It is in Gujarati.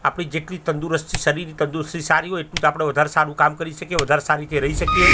આપડી જેટલી તંદુરુસ્તી શરીરની તંદુરુસ્તી સારી હોય એટલું જ આપડે વધારે સારું કામ કરી શકીયે વાધરે સારી રીતે રય શકીયે.